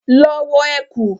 Lọ wọ ẹ̀kú!